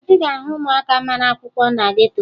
Ị ga-ahụ ụmụaka mara akwụkwọ na geto